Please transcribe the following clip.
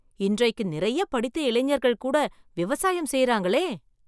இன்றைக்கு நிறைய படித்த இளைஞர்கள் கூட விவசாயம் செய்றாங்களே!